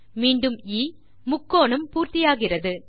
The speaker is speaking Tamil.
மீண்டும் எ முக்கோணம் பூர்த்தியாகிறது